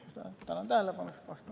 Tänan tähelepanu eest!